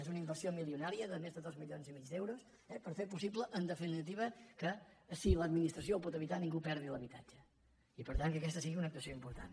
és una inversió milionària de més de dos milions i mig d’euros per fer possible en definitiva que si l’admi·nistració ho pot evitar ningú perdi l’habitatge i per tant que aquesta sigui una actuació important